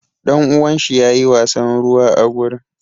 Ɗanuwan shi yayi wasan ruwa a gurin.